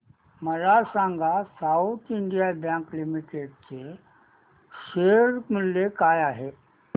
मला सांगा South Indian Bank Limited चे शेअर मूल्य काय आहे